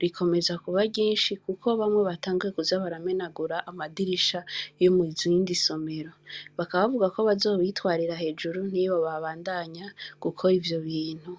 rikomeza kuba ryinshi kuko bamwe batanguye kuza kumenagura amadirisha yo mu zindi somero. Bakaba bavuga ko bazobitwarira hejuru niyo babandanya gukora ivyo bintu.